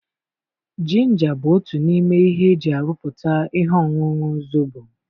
Jinja bụ otu n'ime ihe eji aruputa ihe ọṅụṅụ Zobo.